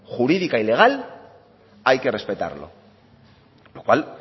jurídica y legal hay que respetarlo lo cual